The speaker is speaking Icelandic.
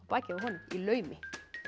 bakið á honum í laumi